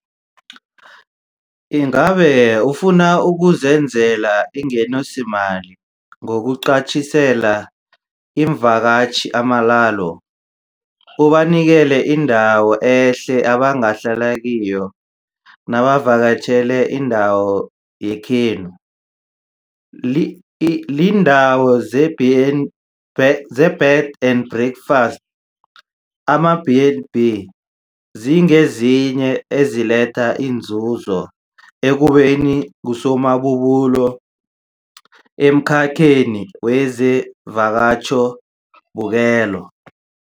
Ingabe ufuna ukuzenzela ingenisomali ngokuqatjhisela iimvakatjhi amalalo, ubanikele indawo ehle abangahlala kiyo nabavakatjhele indawo yekhenu? Iindawo zeBed and Breakfast, ama-B and B, zingezinye eziletha inzuzo ekubeni ngusomabubulo emkhakheni wezamavakatjhobukelo.